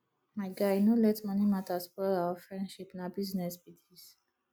my guy no let money matter spoil our friendship na business be this